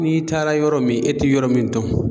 N'i taara yɔrɔ min e tɛ yɔrɔ min dɔn